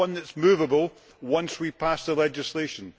it is not one that is moveable once we pass the legislation.